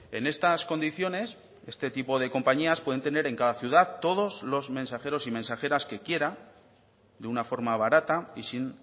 en estas condiciones este tipo de compañías pueden tener en cada ciudad todos los mensajeros y mensajeras que quiera de una forma barata y sin